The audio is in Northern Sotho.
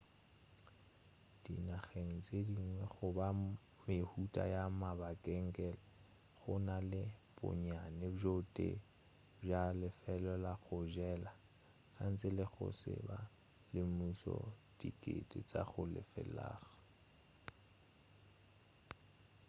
dinageng tše dingwe goba mehuta ya mabenkele go na le bonnyane bjo tee bja lefelo la go jela gantši la go se be la semmušo la diteko tša go lefelega